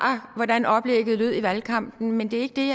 hvordan oplægget lød i valgkampen men det er ikke det